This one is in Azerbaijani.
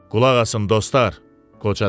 Qulaq asın dostlar, qoca dedi.